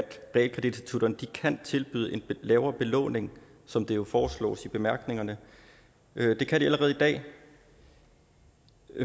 realkreditinstitutterne kan tilbyde en lavere belåning som det jo foreslås i bemærkningerne det kan de allerede i dag